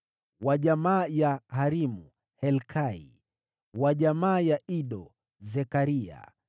wa jamaa ya Harimu, Adna; wa jamaa ya Meremothi, Helkai;